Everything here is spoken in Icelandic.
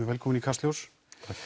velkominn í Kastljós